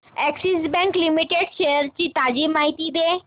Axis bank limited shares ची ताजी माहिती दे